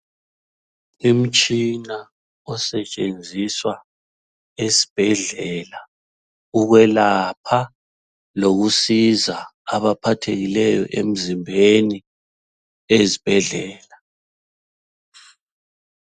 Umtshina osetshenziswa ezibhedlela, ukwelapha lokusiza abaphathekileyo emzimbeni ezibhedlela.